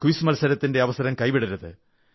quiz മത്സരത്തിന്റെ അവസരം കൈവിടരുത്